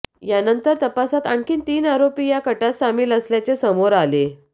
यानंतर तपासात आणखी तीन आरोपी या कटात सामील असल्याचे समोर आले